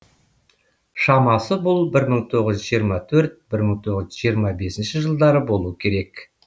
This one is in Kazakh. шамасы бұл бір мың тоғыз жүз жиырма төрт бір мың тоғыз жүз жиырма бесінші жылдары болуы керек